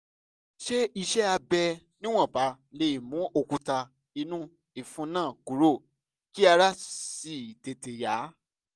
ṣé iṣẹ́ abẹ níwọ̀nba lè mú òkúta inú ìfun náà kúrò kí ara sì tètè yá?